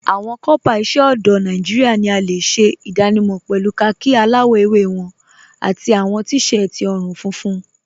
Awọn kọọpá iṣẹ ọdọ Nàìjíríà ni a le ṣẹ idànímọ̀ pẹ̀lú kháàkì aláwọ̀ èwé wọn àti awọn t-séẹtí ọ̀run-fúnfún.